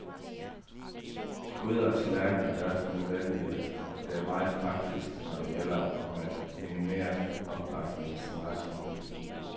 Gryder og tallerkener er derfor ikke nødvendige, og det er meget praktisk, når det gælder om at minimere oppakningen så meget som muligt.